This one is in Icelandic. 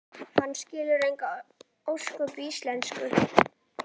Hann skilur engin ósköp í íslensku.